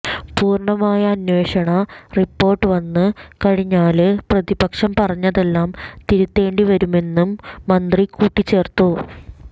പൂര്ണമായ അന്വേഷണ റിപ്പോര്ട്ട് വന്ന് കഴിഞ്ഞാല് പ്രതിപക്ഷം പറഞ്ഞതെല്ലാം തിരുത്തേണ്ടി വരുമെന്നും മന്ത്രി കൂട്ടിച്ചേർത്തു